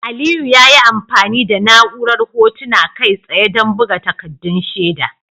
Aliyu ya yi amfani da na'urar Hotuna Kai tsaye don buga takaddun shaida.